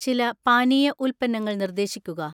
ചില പാനീയ ഉൽപ്പന്നങ്ങൾ നിർദ്ദേശിക്കുക